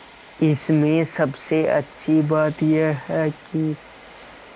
इसमें सबसे अच्छी बात यह है कि